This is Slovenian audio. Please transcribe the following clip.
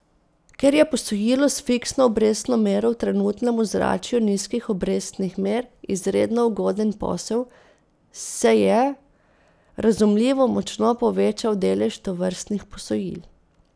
Ker je posojilo s fiksno obrestno mero v trenutnem ozračju nizkih obrestnih mer izredno ugoden posel, se je, razumljivo, močno povečal delež tovrstnih posojil.